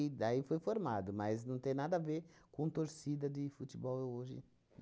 daí foi formado, mas não tem nada a ver com torcida de futebol hoje.